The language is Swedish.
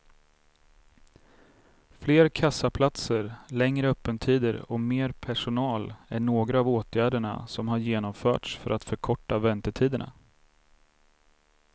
Fler kassaplatser, längre öppettider och mer personal är några av åtgärderna som har genomförts för att förkorta väntetiderna.